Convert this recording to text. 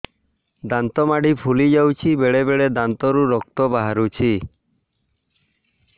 ଦାନ୍ତ ମାଢ଼ି ଫୁଲି ଯାଉଛି ବେଳେବେଳେ ଦାନ୍ତରୁ ରକ୍ତ ବାହାରୁଛି